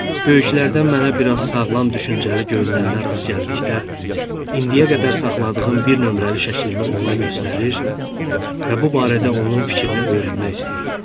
Böyüklərdən mənə biraz sağlam düşüncəli görünənə rast gəldikdə indiyə qədər saxladığım bir nömrəli şəklimi ona göstərir və bu barədə onun fikrini öyrənmək istəyirdim.